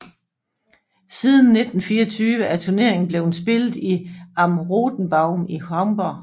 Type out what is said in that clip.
Siden 1924 er turneringen blevet spillet i Am Rothenbaum i Hamborg